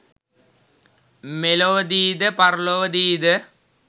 මෙලොවදීද පරලොවදීද